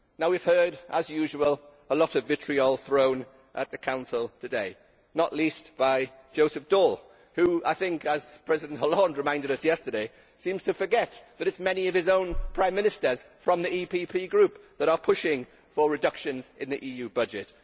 Now we have heard as usual a lot of vitriol thrown at the Council today, not least by Joseph Daul, who I think, as President Hollande reminded us yesterday, seems to forget that it is many of his own Prime Minsters from the EPP Group that are pushing for reductions in the EU budget.